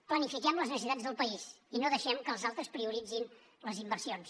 planifiquem les necessitats del país i no deixem que els altres prioritzin les inversions